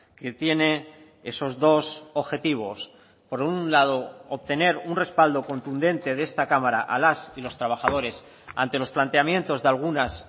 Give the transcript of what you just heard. que tiene esos dos objetivos por un lado obtener un respaldo contundente de esta cámara a las y los trabajadores ante los planteamientos de algunas